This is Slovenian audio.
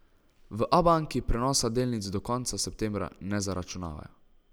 V Abanki prenosa delnic do konca septembra ne zaračunavajo.